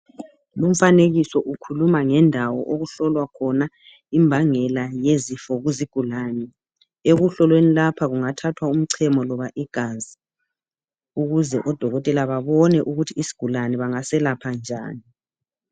Lumfanekiso ukhuluma ngendawo okuhlolwa khona imbangela yezifo kuzigulani .Ekuhloweni lapha kungathathwa umchemo loba igazi ukuze odokotela babone ukuthi isgulane bangaselapha njani .